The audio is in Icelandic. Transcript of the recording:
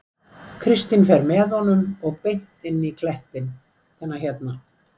Kristín fer með honum og beint inn í klettinn, þennan hérna.